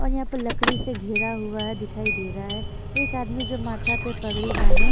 और यहां पे लकड़ी से घिरा हुआ है दिखाई दे रहा है एक आदमी जो माथा पर पगड़ी बाने--